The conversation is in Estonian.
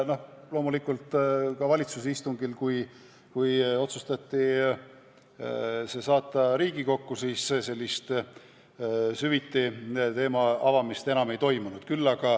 Loomulikult valitsuse istungil, kui otsustati see saata Riigikokku, süviti teema avamist enam ei toimunud.